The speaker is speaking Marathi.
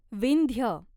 विंध्य